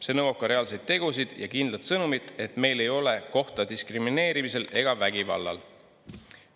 See nõuab ka reaalseid tegusid ja kindlat sõnumit, et meil ei ole kohta diskrimineerimisel ega vägivallal.